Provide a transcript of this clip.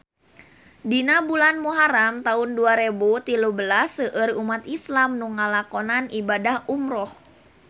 Dina bulan Muharam taun dua rebu tilu belas seueur umat islam nu ngalakonan ibadah umrah